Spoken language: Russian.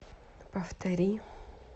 повтори